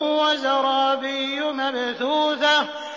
وَزَرَابِيُّ مَبْثُوثَةٌ